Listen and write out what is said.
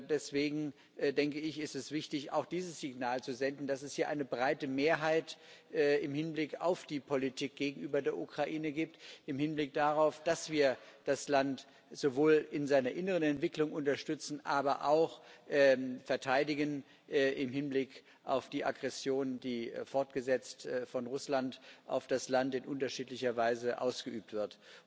Deswegen ist es wichtig, auch dieses Signal zu senden, dass es hier eine breite Mehrheit im Hinblick auf die Politik gegenüber der Ukraine gibt im Hinblick darauf, dass wir das Land sowohl in seiner inneren Entwicklung unterstützen, aber auch verteidigen im Hinblick auf die Aggression, die fortgesetzt von Russland auf das Land in unterschiedlicher Weise ausgeübt wird.